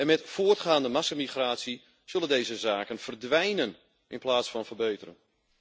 Met voortgaande massamigratie zullen deze zaken verdwijnen in plaats van verbeteren.